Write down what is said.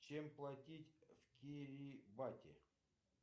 чем платить в кирибати